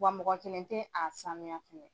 Wa mɔgɔ kelen tɛ a sanuya fɛnɛ.